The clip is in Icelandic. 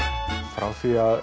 frá því að